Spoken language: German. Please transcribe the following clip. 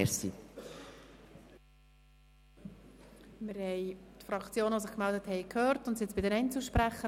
Nun haben wir die Fraktionen, die sich gemeldet haben, gehört, und kommen somit zu den Einzelsprechern.